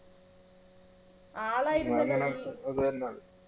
ആളായിരുന്നു